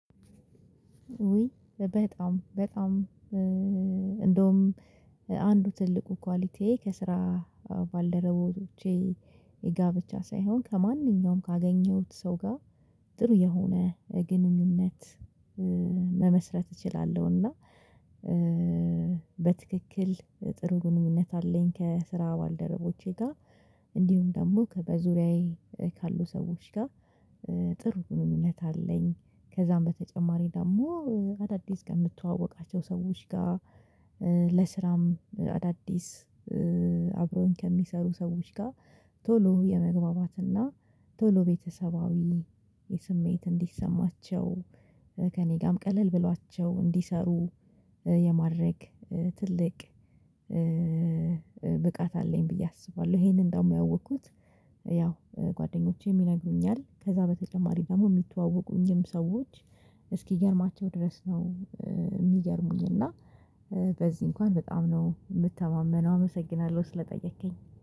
ውይ በጣም በጣም እንደውም አንዱ ትልቁ ኳሊቲዬ ከስራ ባልደረቦቼ የጋብቻ ሳይሆን ከማንኛውም ካገኘሁት ሰው ጋር ጥሩ የሆነ ግንኙነት መመስረት እችላለሁና። በትክክል ጥሩንም እውነት አለኝ ከስራ ባልደረቦቼ ጋር እንዲሁም ደግሞ በዙሪያዬ ካሉ ሰዎች ጋር ጥሩ ግንኙነት አለኝ። ከዛም በተጨማሪ ደግሞ አዳዲስ ከምትተዋወቃቸው ሰዎች ጋር ለስራም አዳዲስ ከሚሰሩ ሰዎች ጋር ቶሎ የመግባባትና ቶሎ ቤተሰባዊ እንዲሰማቸው ከእኔ ጋርም ቀለል ብሏቸው እንዲሰሩ የማድረግ ትልቅ ብቃት አለኝ ብዬ አስባለሁ። ይሄንን ደግሞ ያወቅኩት ጓደኞቼ ይነግሩኛል ከዛ በተጨማሪ ደግሞ የሚተዋወቁኝም ሰዎች እስኪገርማቸው ድረስ ነው። የሚገርሙኝ እና በዚህ እንኳን በጣም ነው የምተማመነው አመሰግናለሁ። ስለጠየከኝ